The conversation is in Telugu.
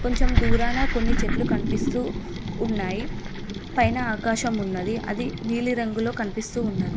కొంచెం దూరాన కొన్ని చెట్లు కనిపిస్తూ ఉన్నాయి పైన ఆకాశం ఉన్నది అది నీలిరంగులో కనిపిస్తూ ఉన్నది.